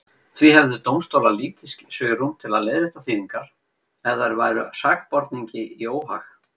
Því hefðu dómstólar lítið svigrúm til að leiðrétta þýðingar ef þær væru sakborningi í óhag.